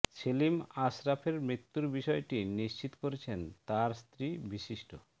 সেলিম আশরাফের মৃত্যুর বিষয়টি নিশ্চিত করেছেন তার স্ত্রী বিশিষ্ট